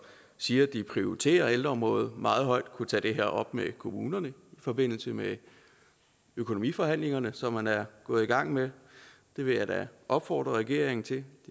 siger de prioriterer ældreområdet meget højt kunne tage det op med kommunerne i forbindelse med økonomiforhandlingerne som man er gået i gang med det vil jeg da opfordre regeringen til det